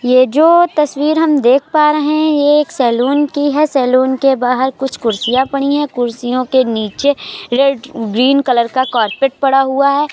ये जो तस्वीर हम देख पा रहे हैं ये एक सैलून की है। सैलून के बाहर कुछ कुर्सियाँ पड़ी है। कुर्सियों के नीचे रेड ग्रीन कलर का कार्पेट पड़ा हुआ है।